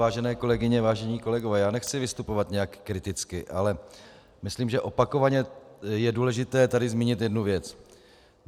Vážené kolegyně, vážení kolegové, já nechci vystupovat nějak kriticky, ale myslím, že opakovaně je důležité tady zmínit jednu věc.